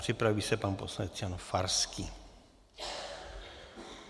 Připraví se pan poslanec Jan Farský.